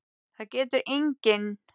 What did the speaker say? Það getur enginn!